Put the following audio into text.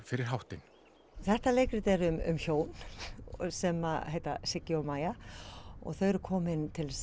fyrir háttinn þetta leikrit er um hjón sem heita Siggi og Maja þau eru komin til